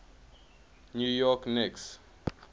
new york knicks